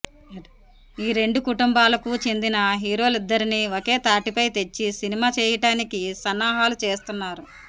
ఈ రెండు కుటుంబాలకు చెందిన హీరోలిద్దరినీ ఒకే తాటిపై తెచ్చి సినిమా చేయటానికి సన్నాహాలు చేస్తున్నారు